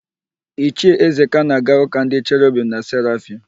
Ichie Ezeka na-aga ụ́kà ndị Cherobim na Serafim.